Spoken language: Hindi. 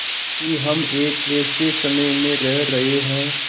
कि हम एक ऐसे समय में रह रहे हैं